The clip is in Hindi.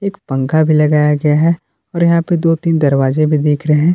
पंखा भी लगाया गया है और यहां पर दो तीन दरवाजे भी देख रहे हैं।